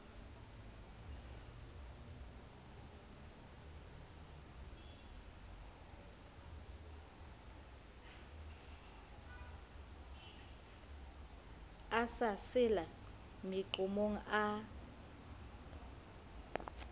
a sa sela meqomong a